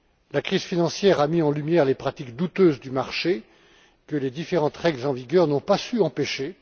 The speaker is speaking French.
La crise financière a mis en lumière les pratiques douteuses du marché que les différentes règles en vigueur n'ont pas su empêcher.